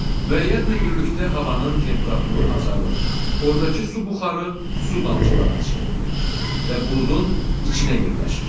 Müəyyən hündürlükdə havanın temperaturu azalır, ordakı su buxarı su damcılarına çevrilir və buludun içinə yerləşir.